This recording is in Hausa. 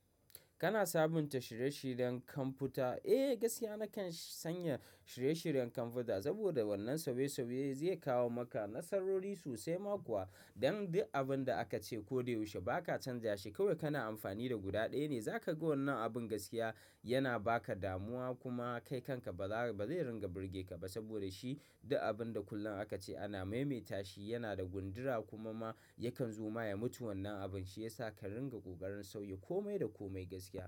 Kana sabunta shirye-shiryen kwamfuta. Eh, gaskiya nakan sanya shirye-shiryen kwamfuta saboda wannan sobe-sobe zai kawo maka nasarori sosai mako wa. Don duk abin da aka ce ko da yaushe ba ka canjashi. Kawai kana amfani da guda ɗaya ne. Za ka ga wannan abin gaskiya yana ba ka damuwa kuma kai kanka ba zai ringa burge ka ba saboda shi duk abin da kullum aka ce ana maimaita shi, yana da gundura kuma ma yakan zuma. Ya mutu wannan abin, shi yasa ka ringa ƙoƙarin sauya komai da komai gaskiya.